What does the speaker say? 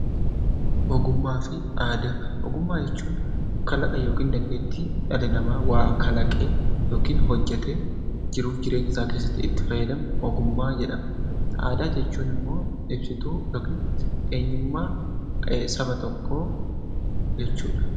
Ogummaa jechuun kalaqa yookiin dandeettii dhalli namaa waa kalaqee yookiin hojjetee jiruuf jireenya isaa keessatti itti fayyadamu ogummaa jedhama. Aadaan jechuun immoo ibsituu yookiin eenyummaa saba tokkoo jechuudha.